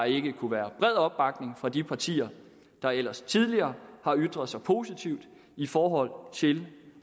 ikke kunne være bred opbakning fra de partier der ellers tidligere har ytret sig positivt i forhold til